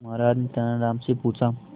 महाराज ने तेनालीराम से पूछा